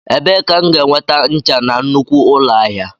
Ebee ka m ga-enweta ncha na nnukwu ụlọ ahịa?